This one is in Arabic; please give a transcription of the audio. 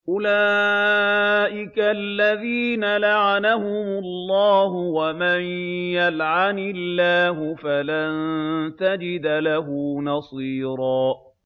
أُولَٰئِكَ الَّذِينَ لَعَنَهُمُ اللَّهُ ۖ وَمَن يَلْعَنِ اللَّهُ فَلَن تَجِدَ لَهُ نَصِيرًا